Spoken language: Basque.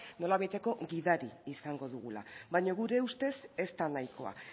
nolabaiteko gidari izango dugula baino gure ustez ez da nahikoa